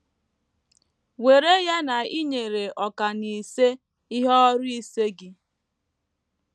WERE ya na i nyere ọkà n’ise ihe ọrụ ise gị.